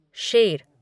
शेर